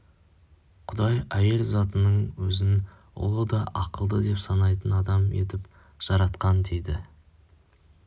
құдай әйел затының өзін ұлы да ақылды деп санайтын адам етіп жаратқан дейді